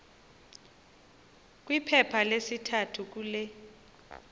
kwiphepha lesithathu kule